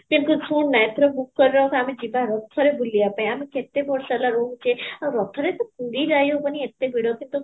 କିନ୍ତୁ ଶୁଣ ନା ଆମେ ଯିବା ରଥ ରେ ବୁଲିବା ପାଇଁ ଆମେ କେତେ ବର୍ଷ ହେଲା ରହୁଛେ ଆଉ ରଥ ରେ ପୁରୀ ଯାଇ ହବନି ଏତେ ଭିଡ଼ କିନ୍ତୁ